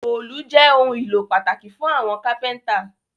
Òòlù jé òun ìlò pataki fun kápẹ́ńtà